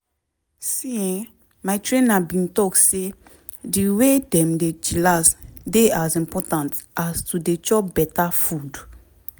see[um]my trainer bin talk say di way dem dey chillax dey as important as to dey chop beta food.